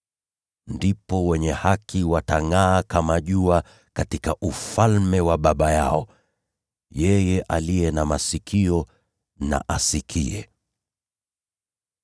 Ndipo wenye haki watangʼaa kama jua katika Ufalme wa Baba yao. Yeye aliye na masikio, na asikie.